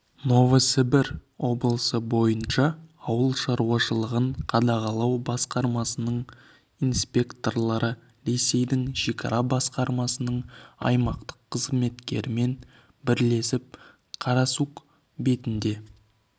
новосібір облысы бойынша ауыл шаруашылығын қадағалау басқармасының инспекторлары ресейдің шекара басқармасының аймақтық қызметкерлерімен бірлесіп карасук бекетінде